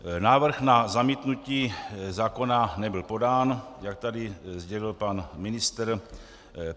Návrh na zamítnutí zákona nebyl podán, jak tady sdělil pan ministr.